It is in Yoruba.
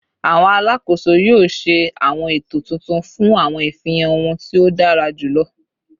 Awọn alakoso yoo ṣe awọn eto titun fun awọn ifihan ohun ti o dara julọ